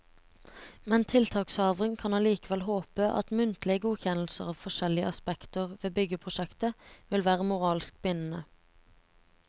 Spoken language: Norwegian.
Men tiltakshaveren kan allikevel håpe at muntlige godkjennelser av forskjellige aspekter ved byggeprosjektet vil være moralsk bindende.